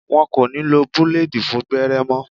Wọn kò ní lo búlèèdì fún gbẹ́rẹ́ mọ́